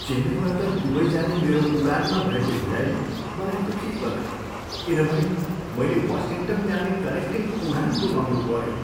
चेन्नईबाट Dubai जाने मेरो उडानमा भएको ढिलाइले मलाई दुखी बनायो किनभने मैले वासिङ्टन जाने कनेक्टिङ उडान गुमाउनुपऱ्यो।